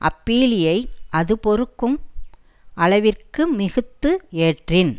அப்பீலியை அது பொறுக்கும் அளவிற்கு மிகுத்து ஏற்றின்